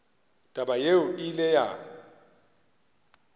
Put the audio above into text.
taba yeo e ile ya